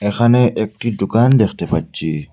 এখানে একটি দোকান দেখতে পাচ্চি ।